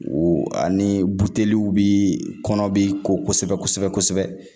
Ani buteliw bi kɔnɔ bi ko kosɛbɛ kosɛbɛ